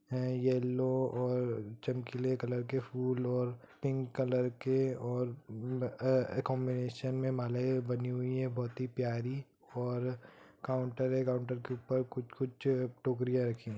Yellow और चमकीले colour के फूल और पिंक कलर के और अ-अ कांबिनेशन में मालाएं बनी हुई है| बहुत प्यारी और काउंटर है| काउंटर के ऊपर कुछ-कुछ टोकरियां रखी है।